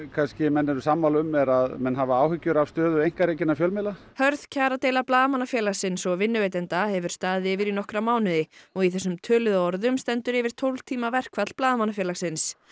menn eru sammála um er að menn hafa áhyggjur af stöðu einkarekinna fjölmiðla hörð kjaradeila Blaðamannafélagsins og vinnuveitenda hefur staðið yfir í nokkra mánuði og í þessum töluðum orðum stendur yfir tólf tíma verkfall Blaðamannafélagsins